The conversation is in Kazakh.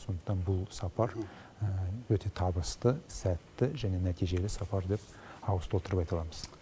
сондықтан бұл сапар өте табысты сәтті және нәтижелі сапар деп ауыз толтырып айта аламыз